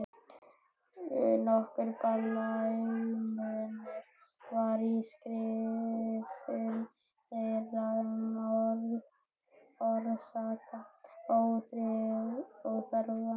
Nokkur blæmunur var á skrifum þeirra um orsakir ófriðarins.